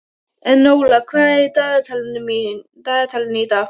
Enóla, hvað er í dagatalinu í dag?